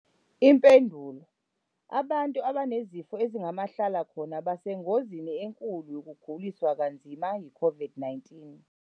Impendulo- Abantu abanezifo ezingamahlala khona basengozini enkulu yokuguliswa kanzima yiCOVID-19.